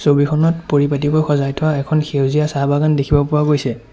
ছবিখনত পৰিপাটিকৈ সজাই থোৱা এখন সেউজীয়া চাহ বাগান দেখিব পোৱা গৈছে।